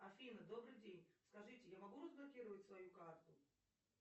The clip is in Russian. афина добрый день скажите я могу разблокировать свою карту